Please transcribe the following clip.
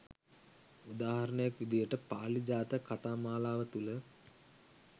උදාහරණයක් විදිහට පාළි ජාතක කතා මාලාව තුළ